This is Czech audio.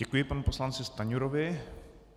Děkuji panu poslanci Stanjurovi.